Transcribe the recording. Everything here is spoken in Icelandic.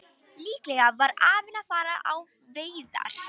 Líklega var afinn að fara á veiðar.